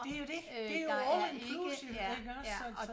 Det jo dét det jo all inclusive iggås så så